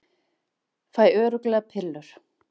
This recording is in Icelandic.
Fæ örugglega pillur